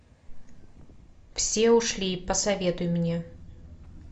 все ушли посоветуй мне